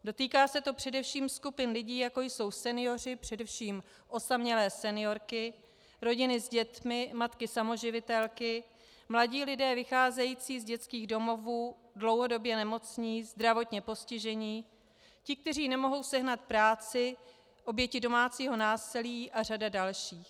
Dotýká se to především skupin lidí, jako jsou senioři, především osamělé seniorky, rodiny s dětmi, matky samoživitelky, mladí lidé vycházející z dětských domovů, dlouhodobě nemocní, zdravotně postižení, ti, kteří nemohou sehnat práci, oběti domácího násilí a řada dalších.